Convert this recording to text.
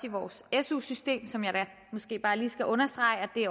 i vores su system som jeg da måske bare lige skal understrege at vi